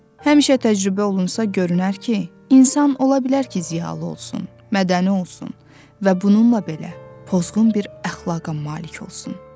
Həmişə təcrübə olunsa görünər ki, insan ola bilər ki, ziyalı olsun, mədəni olsun və bununla belə pozğun bir əxlaqa malik olsun.